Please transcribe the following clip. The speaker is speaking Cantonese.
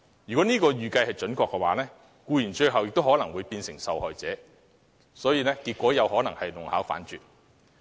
如果這預計準確，僱員最後可能變成受害者，結果是得不償失。